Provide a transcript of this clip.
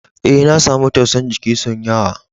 E,na samu tausa'n jiki son yawa.